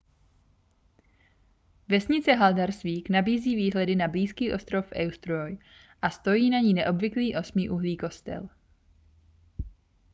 vesnice haldarsvík nabízí výhledy na blízký ostrov eysturoy a stojí na ní neobvyklý osmiúhlý kostel